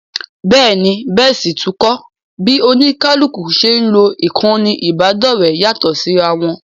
Bẹ́ẹ̀ ni, bẹ́ẹ̀ sì tún kọ́, bí oníkálukú ṣe ń lo ìkànnì ìbánidọ́ọ̀rẹ́ yàtọ̀ síra wọn